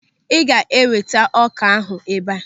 Ị ga-eweta ọ́kà ahụ ebe a.